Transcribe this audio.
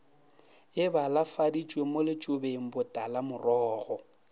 e balafaditšwe mo letšobeng botalamorogo